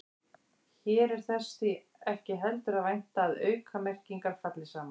Hér er þess því ekki heldur að vænta að aukamerkingar falli saman.